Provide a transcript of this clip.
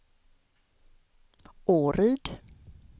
Åryd